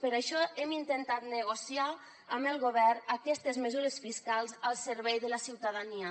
per això hem intentat negociar amb el govern aquestes mesures fiscals al servei de la ciutadania